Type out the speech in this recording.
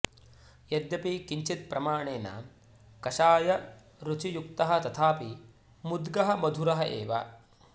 यद्यपि किञ्चित् प्रमाणेन कषायरुचियुक्तः तथापि मुद्गः मधुरः एव